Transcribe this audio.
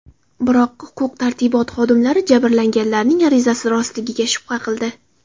Biroq huquq-tartibot xodimlari jabrlanganlarning arizasi rostligiga shubha qildi.